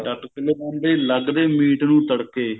ਡੱਟ ਖੁੱਲ ਜਾਂਦੇ ਲੱਗਦੇ ਮੀਟ ਨੂੰ ਤੜਕੇ